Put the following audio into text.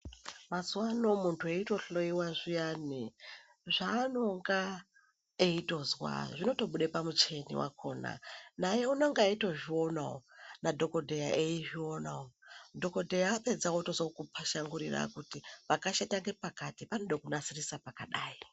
Muzawano munhu eitohloiwa zviyani zvavanonga eitozwa zvinotobude pamuchini wakaona naye unonga eitozvionawo nadhokodheya eizvionawo , dhokodheya apedza otozokupashangurira kuti pakashata ngepakati panode kunasirisa pakadai.